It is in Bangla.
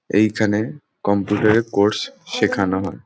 এইখানে কম্পিউটার -এর কোর্স শেখানো হয়।